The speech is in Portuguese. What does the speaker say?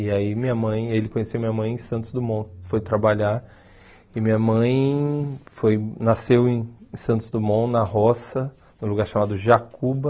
E aí minha mãe, ele conheceu minha mãe em Santos Dumont, foi trabalhar, e minha mãe foi nasceu em Santos Dumont, na roça, num lugar chamado Jacuba,